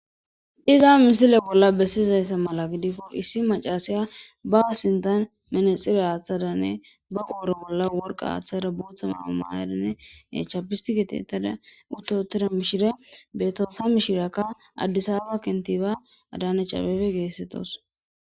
Iza misile bolla bessizayssa mala gidikko issi macasiya basintan menexire aaththadanne baqooro bolla worqa aaththada bootha maamaayadinne echapistigetetada uttotida mishire betoosa mishiraka addisaba kentiba adaanechabefe geessettos.